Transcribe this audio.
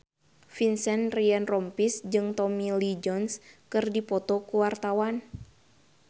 Vincent Ryan Rompies jeung Tommy Lee Jones keur dipoto ku wartawan